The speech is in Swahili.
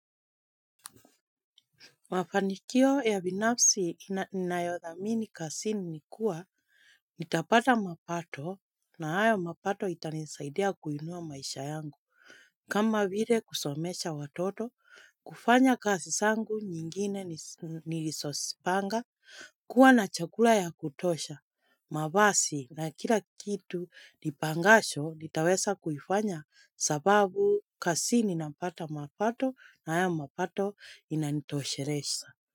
Mafanikio ya binafsi ninayothamini kazini ni kuwa, nitapata mapato na hayo mapato itanisaidia kuinua maisha yangu. Kama vile kusomesha watoto, kufanya kazi zangu nyingine nilizozipanga, kuwa na chakula ya kutosha. Mavazi na kila kitu nipangacho nitaweza kuifanya kwa sababu kazini napata mapato na haya mapato yananitosheleza.